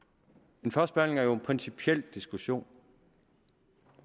en første behandling er jo en principiel diskussion